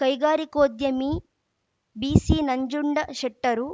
ಕೈಗಾರಿಕೋದ್ಯಮಿ ಬಿಸಿನಂಜುಂಡಶೆಟ್ಟರು